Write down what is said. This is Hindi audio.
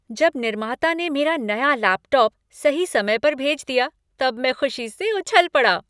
जब निर्माता ने मेरा नया लैपटॉप सही समय पर भेज दिया तब मैं खुशी से उछल पड़ा।